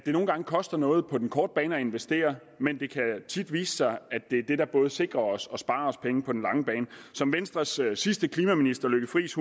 nogle gange koster noget på den korte bane at investere men det kan tit vise sig at det er det der både sikrer os og sparer os penge på den lange bane som venstres sidste klimaminister lykke friis